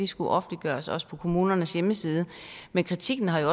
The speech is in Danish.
skulle offentliggøres også på kommunernes hjemmeside men kritikken har så